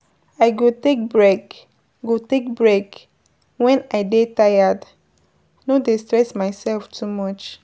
I go take break go take break wen I dey tired, no dey stress myself too much.